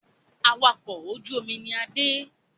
Awakọ̀ ojú omi ni Adé